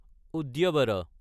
উদ্যাভাৰা